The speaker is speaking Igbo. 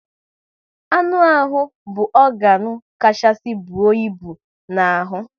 Anụ ahụ bụ ọganu kachasị bụọ ịbụ n'ahụ